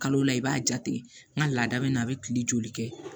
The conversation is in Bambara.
Kalo la i b'a jate n ka laada bɛ na a bɛ kile joli kɛ